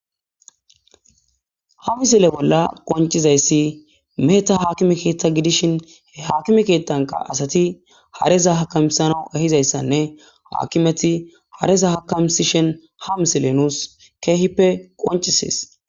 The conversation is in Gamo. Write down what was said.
hamisile bolla qoncizayssi meheta haakime keettha gidishin e hakime keettanka asati hareza hakamisana ehizayssanne haakimeti hareza hakamisishen ha misile nuus keehippe qoncisees